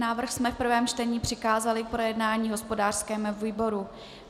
Návrh jsme v prvém čtení přikázali k projednání hospodářskému výboru.